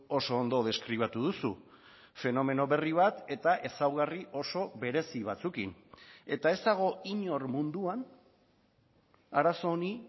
oso ondo deskribatu duzu fenomeno berri bat eta ezaugarri oso berezi batzuekin eta ez dago inor munduan arazo honi